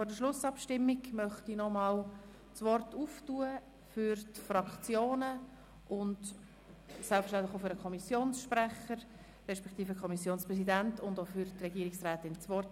Vor der Schlussabstimmung möchte ich die Diskussion nochmals für die Fraktionen und selbstverständlich auch für den Kommissionssprecher beziehungsweise den Kommissionspräsidenten und die Regierungsrätin eröffnen.